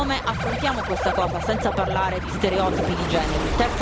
Come affrontiamo questa cosa, senza parlare di stereotipi di genere?